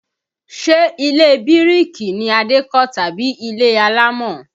Ṣe ilé bíríkì ni Adé kó tàbí ilé alámọ̀?